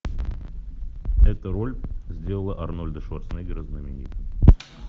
эта роль сделала арнольда шварценеггера знаменитым